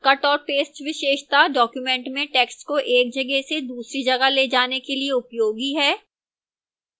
cut और paste विशेषता document में text को एक जगह से दूसरी जगह ले जाने के लिए उपयोगी है